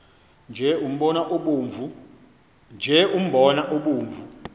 nje umbona obomvu